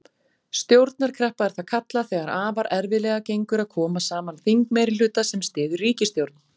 Stjórnarkreppa er það kallað þegar afar erfiðlega gengur að koma saman þingmeirihluta sem styður ríkisstjórn.